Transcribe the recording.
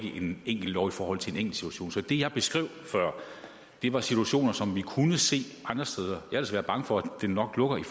en lov i forhold til en enkelt situation så det jeg beskrev før var situationer som vi kunne se andre steder og ellers været bange for at de nok lukkede i